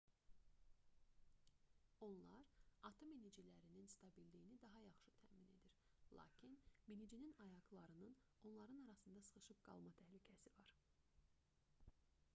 onlar atı minicilərinin stabilliyini daha yaxşı təmin edir lakin minicinin ayaqlarının onların arasında sıxışıb qalma təhlükəsi var